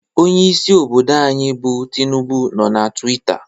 Onyeisi obodo anyị bụ Tinubu nọ na Twita